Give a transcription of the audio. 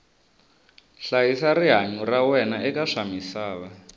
hlayisa rihanyu ra wena eka swa misava